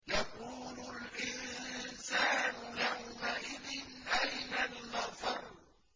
يَقُولُ الْإِنسَانُ يَوْمَئِذٍ أَيْنَ الْمَفَرُّ